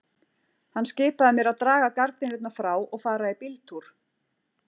Hann skipaði mér að draga gardínurnar frá og fara í bíltúr.